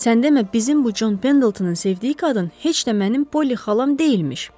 Sən demə, bizim bu John Pendletonun sevdiyi qadın heç də mənim Polly xalam deyilmiş.